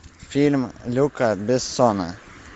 фильм люка бессона